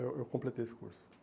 Eu eu completei esse curso.